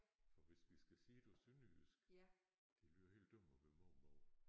For hvis vi skal sige det på sønderjysk det lyder helt dumt at være mormor